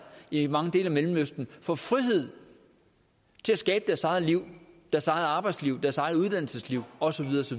i mange dele af mellemøsten får frihed til at skabe deres eget liv deres eget arbejdsliv deres eget uddannelsesliv og så